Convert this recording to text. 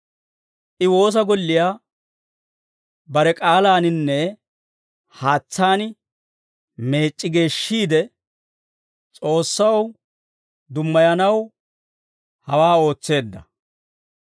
I woosa golliyaa bare k'aalaaninne haatsaan meec'c'i geeshshiide, S'oossaw dummayanaw hawaa ootseedda.